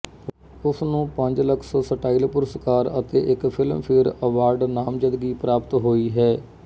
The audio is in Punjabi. ਉਸ ਨੂੰ ਪੰਜ ਲਕਸ ਸਟਾਈਲ ਪੁਰਸਕਾਰ ਅਤੇ ਇੱਕ ਫਿਲਮਫੇਅਰ ਅਵਾਰਡ ਨਾਮਜ਼ਦਗੀ ਪ੍ਰਾਪਤ ਹੋਈ ਹੈ